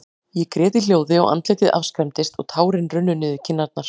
Ég grét í hljóði, og andlitið afskræmdist, og tárin runnu niður kinnarnar.